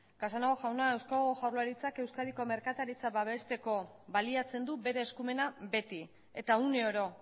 casanova jauna eusko jaurlaritzak euskadiko merkataritza babesteko baliatzen du bere eskumena beti eta une oro